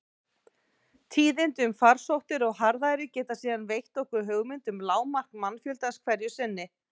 Tíðindi um farsóttir og harðæri geta síðan veitt okkur hugmynd um lágmark mannfjöldans hverju sinni.